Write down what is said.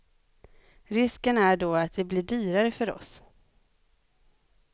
Risken är då att det blir dyrare för oss.